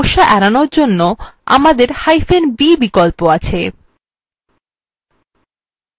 এই মতন কিছু সমস্যা এড়ানোর জন্য আমদেরb বিকল্প আছে